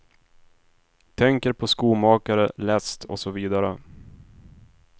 Tänker på skomakare, läst och så vidare.